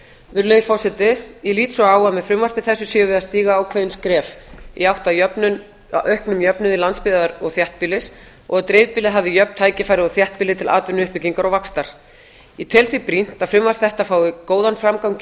virðulegi forseti ég lít svo á að með frumvarpi þessu séum við að stíga ákveðin skref í átt að auknum jöfnuði landsbyggðar og þéttbýlis og að dreifbýlið hafi jöfn tækifæri og þéttbýli til atvinnuuppbyggingar og vaxtar ég tel því brýnt að frumvarp þetta fái góðan framgang